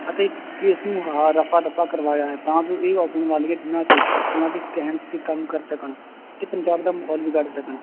ਅਤੇ case ਨੂੰ ਆਹ ਰਫ਼ਾ ਦਫ਼ਾ ਕਰਵਾਇਆ ਹੈ ਤਾਂ ਜੋ ਇਹ ਆਉਣ ਵਾਲੇ ਦਿਨਾਂ ਚ ਉਹਨਾਂ ਦੇ ਕਹਿਣ ਤੇ ਕੰਮ ਕਰ ਸਕਣ ਤੇ ਪੰਜਾਬ ਦਾ ਮਾਹੌਲ ਵਿਗਾੜ ਸਕਣ